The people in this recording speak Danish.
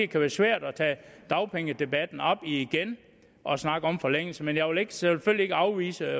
kan være svært at tage dagpengedebatten op igen og snakke om forlængelse men jeg vil selvfølgelig ikke afvise